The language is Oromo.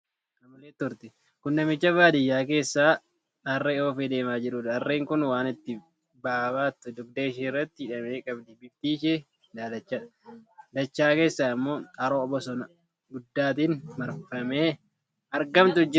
Kun namicha baadiyyaa keessa harree oofee deemaa jiruudha. Harree kun waan itti ba'aa baattu dugda ishee irratti hidhamee qabdi. Bifti ishee daalachadha. Dachaa keessaa immoo haroo bosona guddaatiin marfamee argamutu jira.